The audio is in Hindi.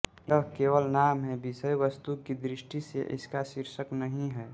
यह केवल नाम है विषयवस्तु की दृष्टि से इसका शीर्षक नहीं है